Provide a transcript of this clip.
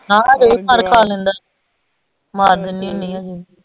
ਹਾਂ ਹਜੇ ਵੀ ਮਾਰ ਖਾ ਲੈਂਦਾ ਮਾਰ ਦਿਨੀ ਹੁੰਦੀ ਹਜੇ ਵੀ।